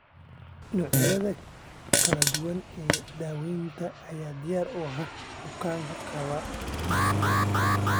Noocyada kala duwan ee daawaynta ayaa diyaar u ah bukaanada qaba PCL.